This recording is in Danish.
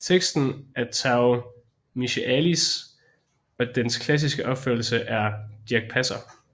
Teksten er af Tao Michaëlis og dens klassiske opførelse er med Dirch Passer